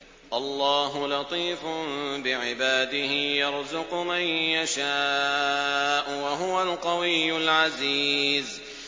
اللَّهُ لَطِيفٌ بِعِبَادِهِ يَرْزُقُ مَن يَشَاءُ ۖ وَهُوَ الْقَوِيُّ الْعَزِيزُ